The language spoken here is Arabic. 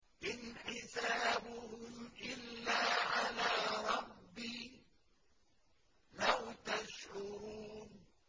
إِنْ حِسَابُهُمْ إِلَّا عَلَىٰ رَبِّي ۖ لَوْ تَشْعُرُونَ